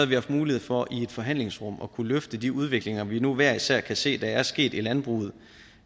vi haft mulighed for i et forhandlingsrum at kunne løfte de udviklinger vi nu hver især kan se der er sket i landbruget